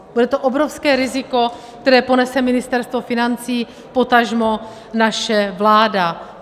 Bude to obrovské riziko, které ponese Ministerstvo financí, potažmo naše vláda.